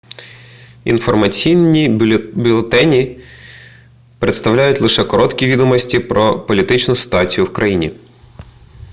інформаційні бюлетені представляють лише короткі відомості про політичну ситуацію у країні